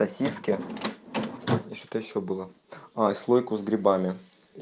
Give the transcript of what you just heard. сосиски что-то ещё было а слойку с грибами